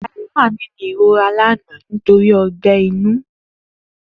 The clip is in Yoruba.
Dayo was in pain yesterday because of ulcer